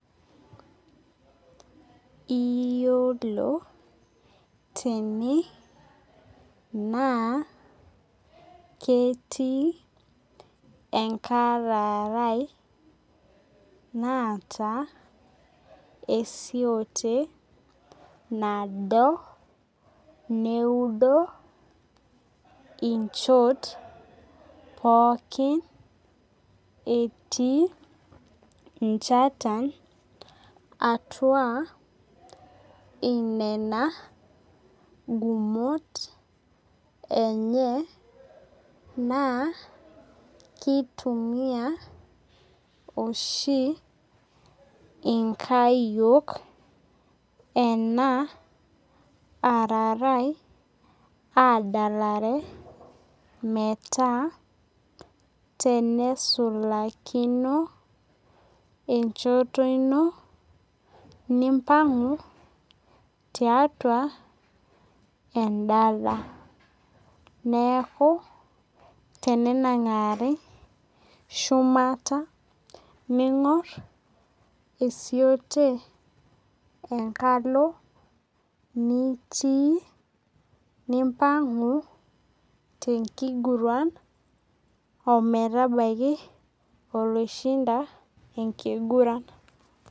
Iyolo tene na ketii enkararae naata esiote nado neudo inchot pooki etii nchatan atua inena gumot enye naa kitumia oshi inkayiok ena ararae adalalare metaa tenesulakino enchoto ino nimpangu tiatua emdala neaku tenenangari shumata ningur esiote enkalo nitii nimpangu tenkiguran ometabaki oloishinda ometabaki.